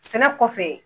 Sɛnɛ kɔfɛ